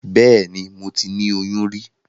Bẹ́ẹ̀ni, moti ni oyún rí.